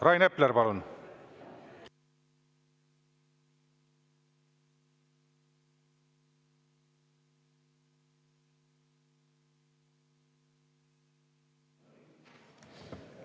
Rain Epler, palun!